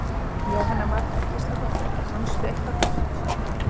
Jóhanna Margrét Gísladóttir: Fannstu eitthvað gott?